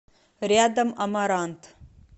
рядом амарант